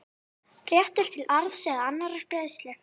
réttur til arðs eða annarrar greiðslu.